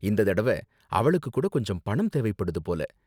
இந்த தடவ, அவளுக்கு கூட கொஞ்சம் பணம் தேவைப்படுது போல.